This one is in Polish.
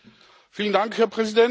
Szanowna Pani Komisarz!